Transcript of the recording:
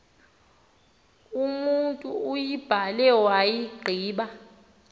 umotu uyibhale wayigqiba